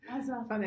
Altså